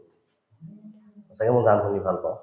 সঁচাকে মই গান শুনি ভাল পাওঁ